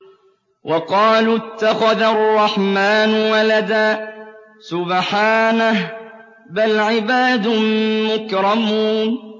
وَقَالُوا اتَّخَذَ الرَّحْمَٰنُ وَلَدًا ۗ سُبْحَانَهُ ۚ بَلْ عِبَادٌ مُّكْرَمُونَ